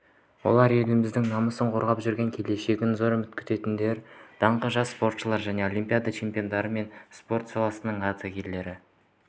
олар еліміздің намысын қорғап жүрген келешегінен зор үміт күттіретін даңқты жас спортшылар және олимпиада чемпиондары мен спорт саласының ардагерлері